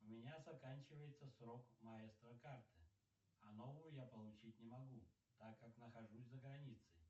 у меня заканчивается срок маэстро карты а новую я получить не могу так как нахожусь за границей